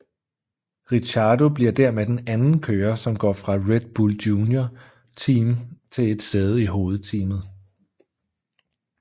Ricciardo bliver dermed den anden kører som går fra Red Bull Junior Team til et sæde i hovedteamet